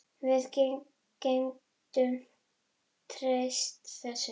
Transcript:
Við getum treyst þessu.